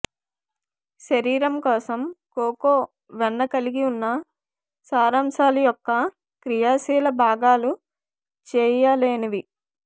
శరీరం కోసం కోకో వెన్న కలిగి ఉన్న సారాంశాలు యొక్క క్రియాశీల భాగాలు చేయలేనివి